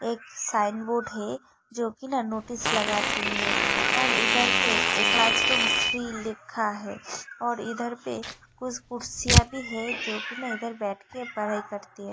एक sign board है जो कि ना नोटिस लगाती है और इधर पे एक क्लासरूम थ्री लिखा है और इधर पे कुछ कुर्सियां भी हैजो की ना इधर बैठकर पढ़ाई करती है।